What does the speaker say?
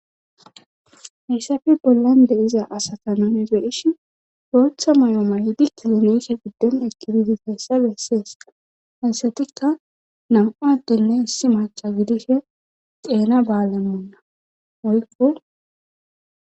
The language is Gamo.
Hessafi bollan deiza asata nune ze ishin roetha may'oo mayidi kilomeeshe gudden ekkibidi geyssa bessees hasatikka nam'aattenne issi macha gidishe xeena baalammonna oykko.